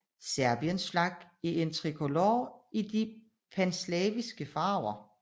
Serbiens flag er en tricolor i de panslaviske farver